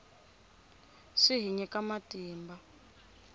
swi hi nyika matimba